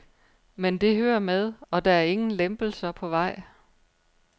Men det hører med, og der er ingen lempelser på vej.